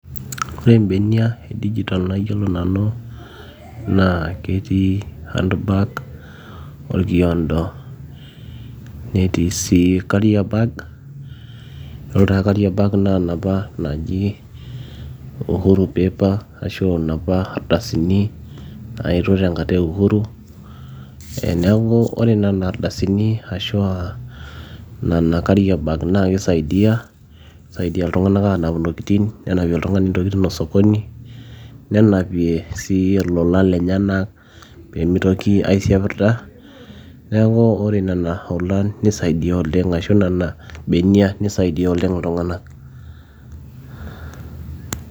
ore imbenia e digital nayiolo nanu naa ketii handbag orkiondo netii sii carrier bag yiolo taa carrier bag naa inapa naaji uhuru paper ashu inapa ardasini naetuo tenkata e uhuru eh, neeku ore nana ardasini ashua nana carrier bag naakisaidia, kisaidia iltung'anak anap intokitin nenapie oltung'ani intokitin osokoni nenapie sii ilolan lenyenak peemitoki aisiapirrda neeku ore nena olan nisaidia oleng ashu nena benia nisaidia oleng iltung'anak